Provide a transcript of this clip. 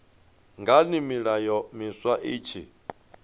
ngani milayo miswa i tshi